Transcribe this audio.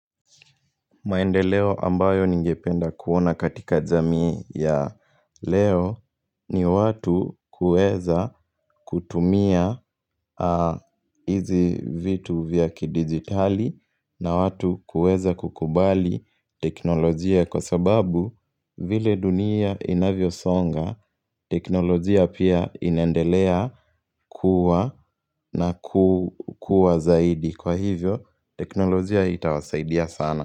Maendeleo ambayo ningependa kuona katika jamii ya leo ni watu kuweza kutumia aaa hizi vitu vya kidigitali na watu kuweza kukubali teknolojia kwa sababu m vile dunia inavyosonga teknolojia pia inendelea ku kuwa na kukuwa zaidi kwa hivyo teknolojia hii itawasaidia sana.